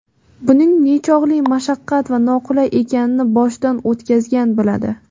Buning nechog‘li mashaqqat va noqulay ekanini boshidan o‘tkazgan biladi.